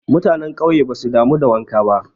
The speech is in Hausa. Mutane ƙauye basu damu da wanka ba.